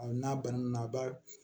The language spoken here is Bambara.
n'a bananen a b'a